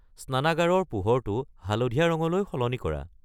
স্নানাগাৰৰ পোহৰটো হালধীয়া ৰঙলৈ সলনি কৰা